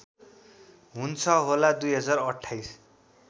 हुन्छ होला २०२८